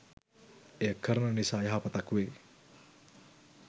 එය කරන නිසා යහපතක් වේ.